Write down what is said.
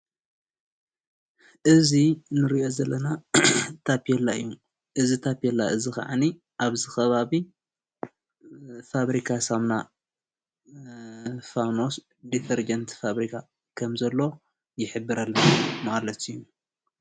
እዚ ንሪኦ ዘለና ታፔላ እዩ። እዚ ታፔላ እዙዬ ካዓኒ ኣብዚ ከባቢ ፋብሪካ ሳሙና ዴተርጀንት ፋብሪካ ከም ዘሎ ይሕብረልና ማለት እዩ።